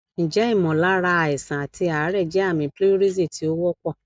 nje imolara aisan ati aare je ami pleurisy ti o wonpo